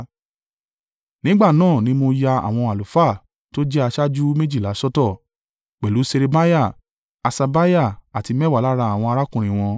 Nígbà náà ni mo ya àwọn àlùfáà tó jẹ́ aṣáájú méjìlá sọ́tọ̀, pẹ̀lú Ṣerebiah, Haṣabiah àti mẹ́wàá lára àwọn arákùnrin wọn,